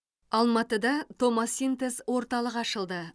алматда томосинтез орталығы ашылды